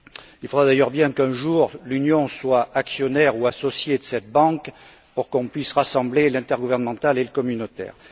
Il faudra d'ailleurs bien qu'un jour, l'Union soit actionnaire ou associée de cette banque pour qu'on puisse rassembler l'intergouvernemental et le communautaire.